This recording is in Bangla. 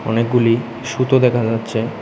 অনেকগুলি সুতো দেখা যাচ্ছে।